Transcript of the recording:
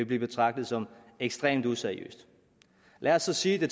blive betragtet som ekstremt useriøst lad os så sige